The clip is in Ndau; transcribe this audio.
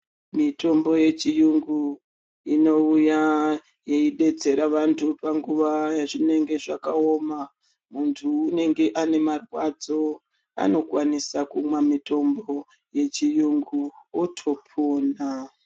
Mitombo yechiyungu inouya yeibetsera antu panguva yazvinenge zvakaoma. Muntu unenge une marwadzo anokwanisa kumwa mitombo yechiyungu votopona.